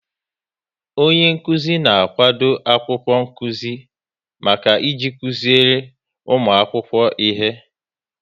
Onyenkụzi na-akwado akwụkwọ nkụzi maka iji kụziri ụmụ akwụkwọ ihe